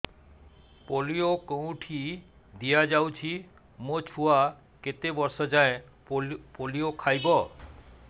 polio କେଉଁଠି ଦିଆଯାଉଛି ମୋ ଛୁଆ କେତେ ବର୍ଷ ଯାଏଁ ପୋଲିଓ ଖାଇବ